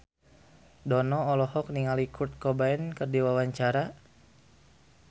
Dono olohok ningali Kurt Cobain keur diwawancara